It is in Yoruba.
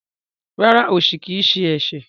Rárá, osi kii ṣe ẹṣẹ.